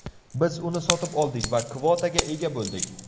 Biz uni sotib oldik va kvotaga ega bo‘ldik.